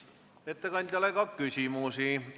Ettekandjale on ka küsimusi.